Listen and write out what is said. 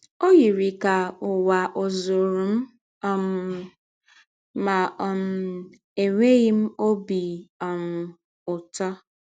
Ọ yiri ka ụwa ọ̀ zụụrụ m um, ma um enweghị m ọbi um ụtọ.